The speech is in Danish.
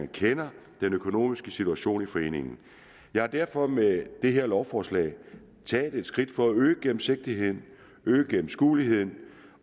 kender den økonomiske situation i foreningen jeg har derfor med det her lovforslag taget et skridt for at øge gennemsigtigheden øge gennemskueligheden